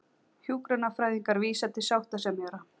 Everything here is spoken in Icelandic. Hjúkrunarfræðingar vísa til sáttasemjara